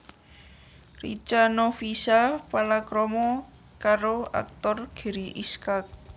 Richa Novisha palakrama karo aktor Gary Iskak